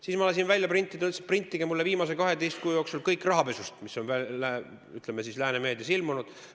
Siis ma ütlesin, et printige mulle kõik, mis on viimase 12 kuu jooksul lääne meedias rahapesu kohta ilmunud.